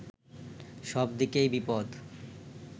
সব দিকেই বিপদ